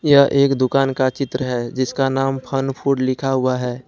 यह एक दुकान का चित्र है जिसका नाम फन फूड लिखा हुआ है।